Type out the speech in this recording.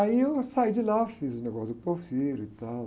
Aí eu saí de lá, fiz o negócio de Porfírio e tal.